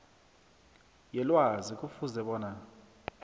yelwazi kufuze bona